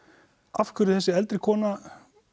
af hverju þessi eldri kona